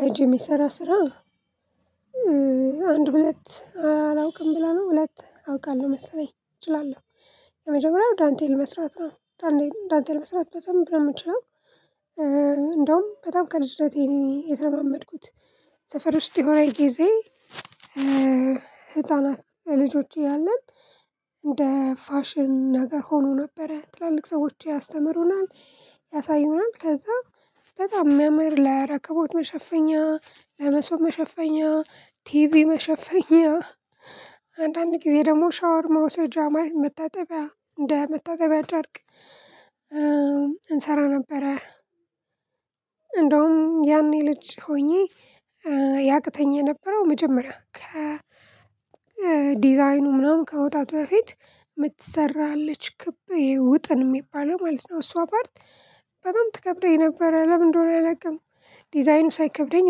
በአጅ የሚሰራ ስራ አንድ ሁለት አላውቅም ብላ ነው። ሁለት አውቃለሁ መሰለኝ እችላለሁ የመጀመሪያው ዳንቴል መስራት ነው። ዳንቴል መስራት በደንብ ነው የሚችለው። እንደዉም በጣም ከልጅነቴ የተለማመድኩት ሰፈር ውስጥ የሆነ ጊዜ ህፃናት ልጆች አያለን እንደ ፋሽን ነገር ሆኖ ነበረ። ትላልቅ ሰዎች ያስተምሩናል ያሳዩናል ከዛ በጣም መምህር ለረከቦት መሸፈኛ ለመሶብ መሸፈኛ ቲቪ መሸፈኛ አንዳንድ ጊዜ ደግሞ ሻወር መውሰጃ ማለት መታጠቢያ እንደ መታጠቢያ ጨርቅ እንሰራ ነበረ። እንደውም ያኔ ልጅ ሆኜ ያቅተኝ የነበረው መጀመሪያ ከ ዲዛይኑ ምናምን ከመዉጣቱ በፊት የምትሰራ አለች ክብ ይሄ ውጥን የሚባለው ማለት ነው እሷ ፓርት በጣም ትከብደኝ ነበረ ለምን አንደ ሆነ አላቅም ዲዛይኑ ሳይከብደኝ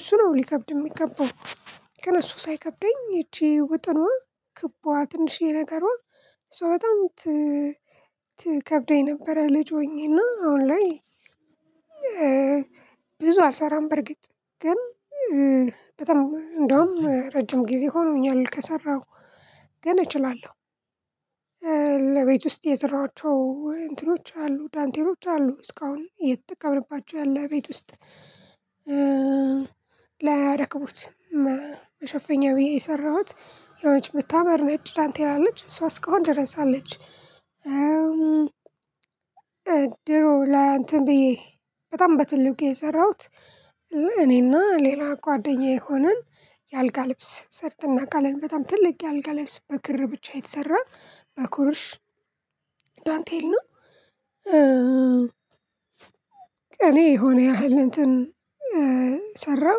እሱ ነው ሊከብድ የሚገባው። ግን እሱ ሳይከብደኝ ይቺ ውጥኗ ክቧ ትንሽዬ ነገሯ ሶ በጣም ቲ ትከብደኝ ነበረ ልጅ ሆኜ አና አሁን ላይ ብዙ አልሰራም በርግጥ ግን በጣም እንደውም ረጅም ጊዜ ሆኖኛል ከሰራሁ ግን እችላለው። ውስጥ የሰራዋቸው እንትኖች አሉ ዳንቴሎች አሉ እስካሁን አየተጠቀምንባቸው ያለ ቤት ውስጥ። ለረከቦት መሸፈኛ ብዬ የሰራሁት የሆነች ምታምር ነጭ ዳንቴል አለች እሷ እስካሁን ድረስ አለች። ድሮ ላይ አንትን ብዬ በጣም በትልቁ የሰራሁት እኔና ሌላ ጓደኛዬ ሆነን የአልጋ ልብስ ሰርትን አናቃለን በጣም ትልቅ የአልጋ ልብስ በክር ብቻ የተሰራ በኩርሽ ዳንቴል ነው እኔ የሆነ ያህል እንትን ሰራሁ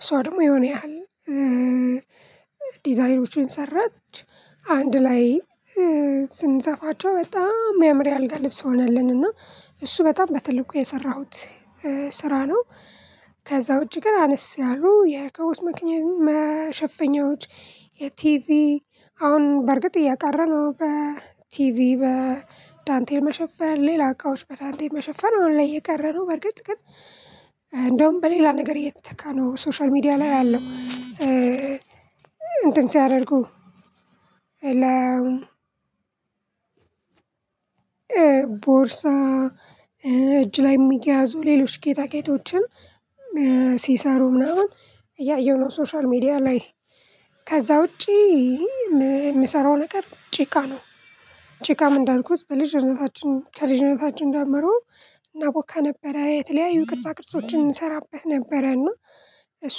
እሷ ደግሞ የሆነ ያህል ዲዛይኖችን ሰራች አንድ ላይ ስንሰፋቸው በጣም የሚያምር የአልጋ ልብስ ሆነልን እና እሱ በጣም በትልቁ የሰራሁት ስራ ነው። ከዛ ዉጭ ግን አነስ ያሉ የረከቦት መኪና መሸፈኛዎች የቲቪ አሁን በእርግጥ እየቀረ ነው። በቲቪ በዳንቴል መሸፈን ሌላ እቃዎች በዳንቴል መሸፈን አሁን ላይ እየቀረ ነው። በርግጥ ግን አንደዉም በሌላ ነገር እየተተካ ነው ሶሻል ሚዲያ ላይ ያለው እንትን ሲያደርጉ ቦርሳ እጅ ላይ የሚያዙ ሌሎች ጌጣጌጦችን ሲሰሩ ምናምን እያየሁ ነው ሶሻል ሚዲያ ላይ። ከዛ ውጪ ምሰራው ነገር ጭቃ ነው። ጭቃም እንዳልኩት በልጅነታችን ከልጅነታችን ጀምሮ እናቦካ ነበረ የተለያዩ ቅርጻ ቅርጾችን እንሰራበት ነበረ እና እሱ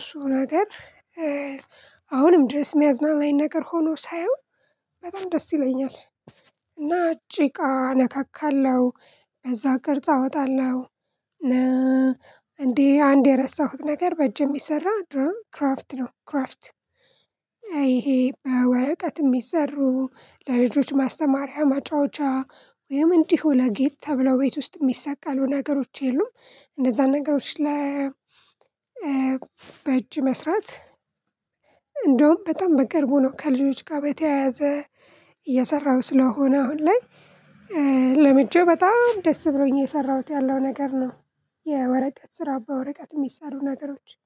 እሱ ነገር አሁንም ድረስ የሚያዝናናኝ ነገር ሆኖ ሳየው በጣም ደስ ይለኛል እና ጭቃ ነካካለው በዛ ቅርጽ አወጣለው። እንዴ አንድ የረሳሁት ነገር በእጅ የሚሰራ ድሮ ክራፍት ነው ክራፍት አሄ በወረቀት የሚሰሩ ለልጆች ማስተማሪያ ማጫወቻ ወይም እንዲህ ለጌጥ ተብለው ቤት ውስጥ የሚሰቀሉ ነገሮች የሉም? እንደዛ ነገሮች ለ በእጅ መስራት እንደውም በጣም በቅርቡ ነው ከልጆች ጋር በተያያዘ እየሰራው ስለሆነ አሁን ላይ ለምጄ በጣም ደስ ብሎኝ አየሰራሁት ያለው ነገር ነው። የወረቀት ስራ በወረቀት የሚሳሩ ነገሮች